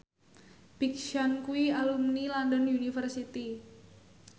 Big Sean kuwi alumni London University